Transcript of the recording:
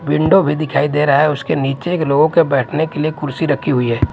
Window भी दिखाई दे रहा है उसके नीचे के लोगों के बैठने के लिए कुर्सी रखी हुई है।